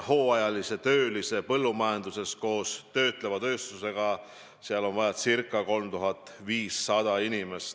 Põllumajanduses koos töötleva tööstusega on hooajaks vaja ca 3500 inimest.